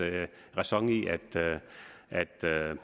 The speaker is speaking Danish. ræson i